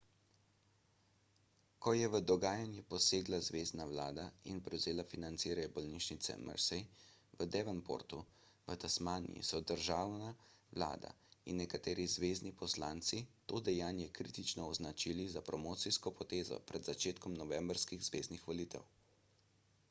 ko je v dogajanje posegla zvezna vlada in prevzela financiranje bolnišnice mersey v devonportu v tasmaniji so državna vlada in nekateri zvezni poslanci to dejanje kritično označili za promocijsko potezo pred začetkom novembrskih zveznih volitev